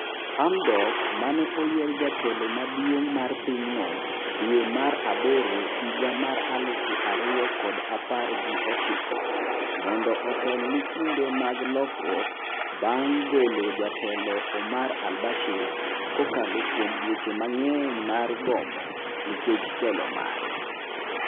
Hamdok maneoyier jatelo maduong' mar pinyno dwe mar aboro higa mar aluf ariyo kod apar gi ochiko. mondo otel ni kinde mag lokruok bang golo jatelo Omar Al Bashir. kokalo kuom dweche mang'eny mar gomo nikech telo mare.